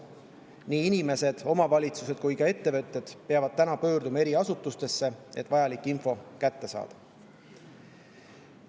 Nii inimesed, omavalitsused kui ka ettevõtted peavad täna pöörduma eri asutustesse, et vajalik info kätte saada.